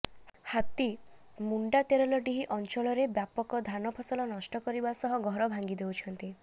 ହାତୀମୁଣ୍ଡା ତେରଲଡିହି ଅଞ୍ଚଳରେ ବ୍ୟାପକ ଧାନ ଫସଲ ନଷ୍ଟ କରିବା ସହ ଘର ଭାଙ୍ଗି ଦେଉଛନ୍ତି